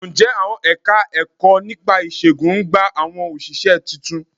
Ǹjẹ́ àwọn Ẹ̀ka-ẹ̀kọ́ nípa ìṣègùn ń gba àwọn òṣìṣẹ́ tuntun?